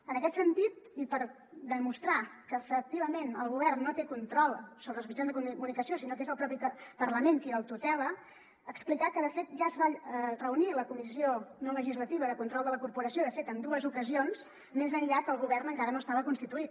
en aquest sentit i per demostrar que efectivament el govern no té control sobre els mitjans de comunicació sinó que és el propi parlament qui el tutela explicar que de fet ja es va reunir la comissió no legislativa de control de la corporació de fet en dues ocasions més enllà que el govern encara no estava constituït